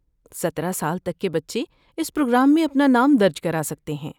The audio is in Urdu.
سترہ سال تک کے بچے اس پروگرام میں اپنا نام درج کرا سکتے ہیں